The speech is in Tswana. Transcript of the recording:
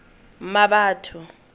mmabatho